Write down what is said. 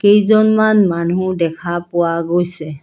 কেইজনমান মানুহ দেখা পোৱা গৈছে।